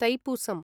थैपूसं